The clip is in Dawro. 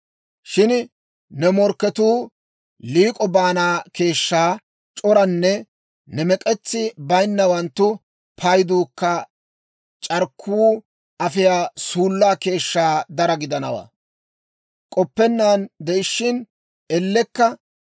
Shin ne morkketuu liik'o baana keeshshaa c'oranne ne mek'etsi baynawanttu payduukka c'arkkuu afiyaa suullaa keeshshaa daro gidanawaa. K'oppennaan de'ishshin ellekka,